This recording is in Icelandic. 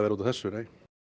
út af þessu nei